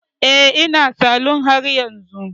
Eh, ina salon haryanzu